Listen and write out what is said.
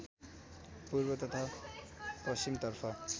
पूर्व तथा पश्‍चिमतर्फ